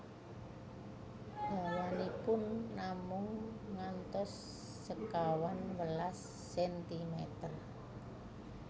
Dawanipun namung ngantos sekawan welas sentimer